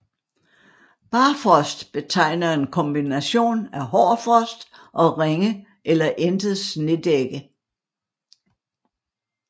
Barfrost betegner en kombination af hård frost og ringe eller intet snedække